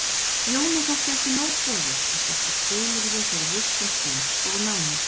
Jóni þótti ekki nóg boðið og setti skilyrði fyrir vistun Sveins og námi.